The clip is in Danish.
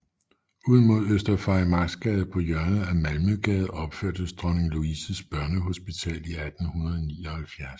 Ud mod Øster Farimagsgade på hjørnet af Malmøgade opførtes Dronning Louises Børnehospital i 1879